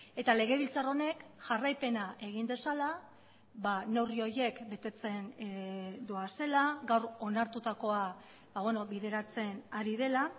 eta legebiltzar honek jarraipena egin dezala neurri horiek betetzen doazela gaur onartutakoa bideratzen ari dela